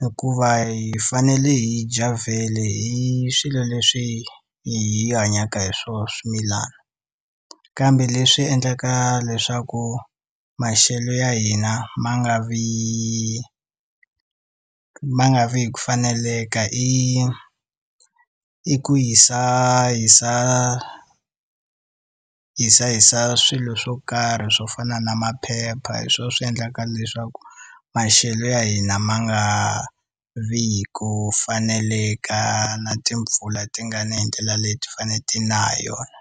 Hikuva hi fanele hi dya vhele hi swilo leswi hi hanyaka hi swona swimilana. Kambe leswi endlaka leswaku maxelo ya hina ma nga vi ma nga vi hi ku faneleka i i ku hisahisa, hisahisa swilo swo karhi swo fana na maphepha hi swona swi endlaka leswaku maxelo ya hina ma nga vi hi ku faneleka na timpfula ti nga ni hi ndlela leti ti fanele ti na hi yona.